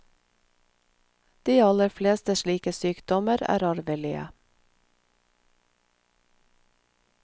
De aller fleste slike sykdommer er arvelige.